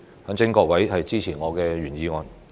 懇請各位支持我的原議案。